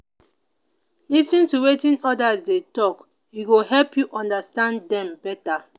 lis ten to wetin others dey talk; e go help you understand dem better.